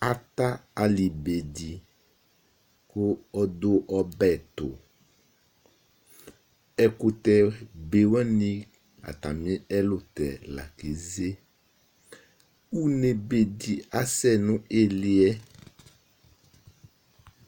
Ata ali be di kʋ ɔdu ɔbɛ tu Ɛkʋtɛ be wani atami ɛlutɛ la keze Ʋne be di asɛ nʋ ili yɛ